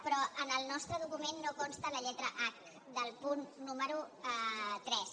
però en el nostre document no consta la lletra h del punt número tres